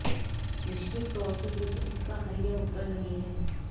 निश्चित तौर से युद्ध इसका हल या उत्तर नहीं है